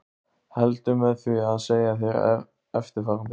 Heldur með því að segja þér eftirfarandi